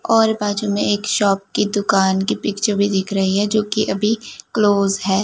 और बाजू में एक शॉप की दुकान की पिक्चर भी दिख रही है जो कि अभी क्लोज है।